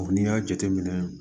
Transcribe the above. n'i y'a jateminɛ